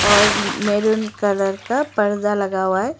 और maroon colour का पर्दा लगा हुआ है।